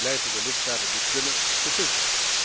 Het blijven de lidstaten die kunnen beslissen.